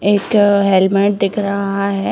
एक आ हेलमेट दिख रहा है।